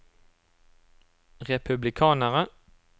republikanere